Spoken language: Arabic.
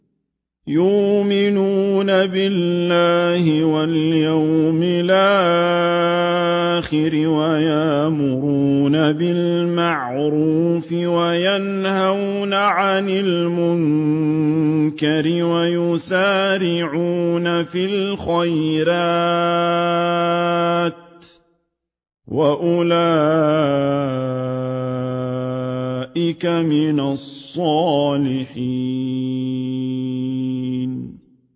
يُؤْمِنُونَ بِاللَّهِ وَالْيَوْمِ الْآخِرِ وَيَأْمُرُونَ بِالْمَعْرُوفِ وَيَنْهَوْنَ عَنِ الْمُنكَرِ وَيُسَارِعُونَ فِي الْخَيْرَاتِ وَأُولَٰئِكَ مِنَ الصَّالِحِينَ